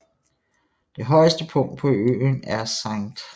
Det højeste punkt på øen er St